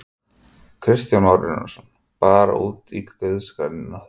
Kristján Már Unnarsson: Bara úti í guðs grænni náttúru?